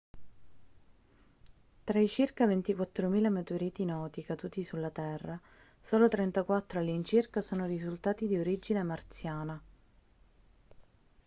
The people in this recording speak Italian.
tra i circa 24.000 meteoriti noti caduti sulla terra solo 34 all'incirca sono risultati di origine marziana